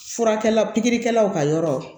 Furakɛlikɛlaw ka yɔrɔ